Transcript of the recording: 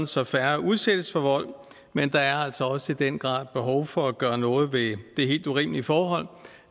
så færre udsættes for vold men der er altså også i den grad behov for at gøre noget ved det helt urimelige forhold